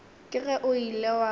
ke ge o ile wa